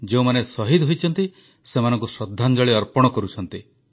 ଯେଉଁମାନେ ଶହୀଦ ହୋଇଛନ୍ତି ସେମାନଙ୍କୁ ଶ୍ରଦ୍ଧାଞ୍ଜଳି ଅର୍ପଣ କରୁଛନ୍ତି